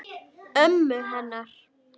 Ömmu hennar?